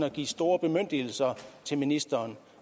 at give store bemyndigelser til ministeren